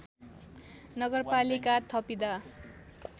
नगरपालिका थपिँदा